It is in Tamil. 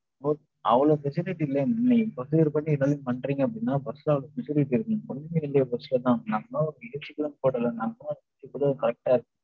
அவளோ facility இல்லனா, நீங்க procedure படி எல்லாம் பண்றீங்க அப்படின்னா, bus ல அப்டி facility இருக்கணும். ஒண்ணுமே இல்லையே bus ல தான். normal ஆ ஒரு ac கூட போடல